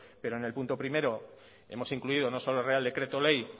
pero en el punto primero hemos incluido no solo el real decreto ley